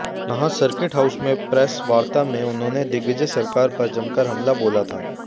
यहां circuit house में प्रेसवार्ता में उन्होंने दिग्विजय सरकार पर जमकर हमला बोला था